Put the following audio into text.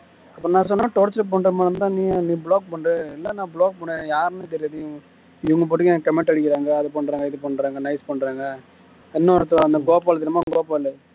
அப்புறம் நான் சொன்னேன torture பண்ற மாதிரி இருந்தா நீ block பண்ணு இல்ல நீ block பண்ணு யாருன்னே தெரியாது இவங்க பாட்டுக்கு எனக்கு comment அடிக்கிறாங்க அதை பண்றாங்க இதை பண்றாங்க nice பண்றாங்க இன்னொருத்தன் அந்த கோபால் தெரியுமா கோபால்